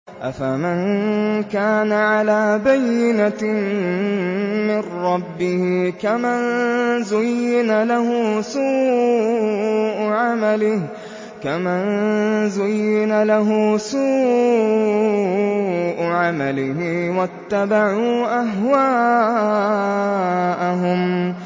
أَفَمَن كَانَ عَلَىٰ بَيِّنَةٍ مِّن رَّبِّهِ كَمَن زُيِّنَ لَهُ سُوءُ عَمَلِهِ وَاتَّبَعُوا أَهْوَاءَهُم